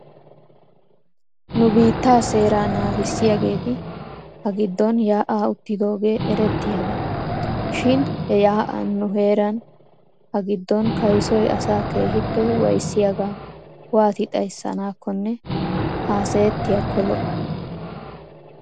Nu biittaa seeraa naagissiyaageeti ha giddon yaa'aa uttidosona erettiyaaba. shin he yaa'an nu heeran ha giddon kaysoy asaa keehippe waayissiyaagaa waati xayssanaakonne haasayettiyaakko lo'o.